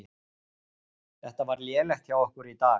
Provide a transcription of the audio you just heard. Þetta var lélegt hjá okkur í dag.